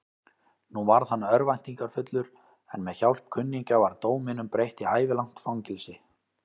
Nú varð hann örvæntingarfullur, en með hjálp kunningja var dóminum breytt í ævilangt fangelsi.